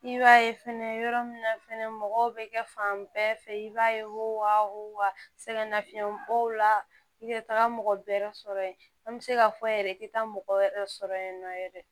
I b'a ye fɛnɛ yɔrɔ min na fɛnɛ mɔgɔw bɛ kɛ fan bɛɛ fɛ i b'a ye wo wa sɛgɛn nafiyɛn bɔ la i tɛ taga mɔgɔ bɛ yɛrɛ sɔrɔ yen an bɛ se ka fɔ yɛrɛ i tɛ taa mɔgɔ wɛrɛ sɔrɔ yen nɔ yɛrɛ